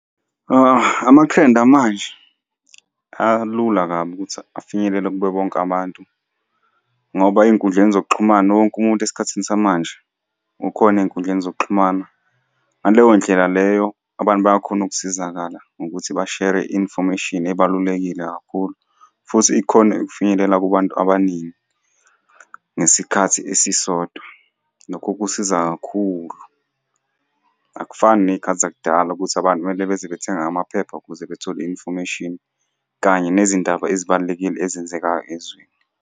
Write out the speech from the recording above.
Amathrendi amanje alula kabi ukuthi afinyelele kubo bonke abantu, ngoba ey'nkundleni zokuxhumana wonke umuntu esikhathini samanje ukhona ey'nkundleni zokuxhumana. Ngaleyo ndlela leyo abantu bayakhona ukusizakala ngokuthi bashere i-information ebalulekile kakhulu, futhi ikhone ukufinyelela kubantu abaningi, ngesikhathi esisodwa. Lokho kusiza kakhulu, akufani ney'khathi zakudala ukuthi abantu kumele beze bethenge amaphepha ukuze bethole i-information, kanye nezindaba ezibalulekile ezenzekayo ezweni.